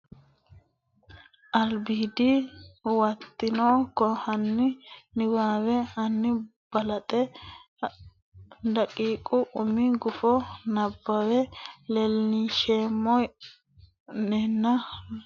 Albiidi Huwato hanni niwaawe ani balaxe daqiiqa umi gufo nabbawe leellisheemmo nena Loonseemmo mma nena ha runse Nabbawate Albiidi Huwato.